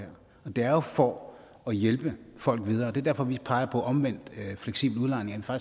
det er jo for at hjælpe folk videre og det er derfor vi peger på omvendt fleksibel udlejning så